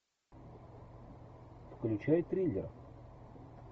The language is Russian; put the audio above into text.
включай триллер